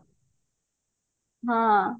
ହଁ